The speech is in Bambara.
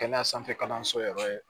Kɛnɛya sanfɛ kalanso yɛrɛ